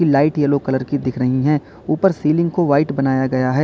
Light yellow colour की दिख रही है ऊपर सीलिंग को व्हाइट बनाया गया है।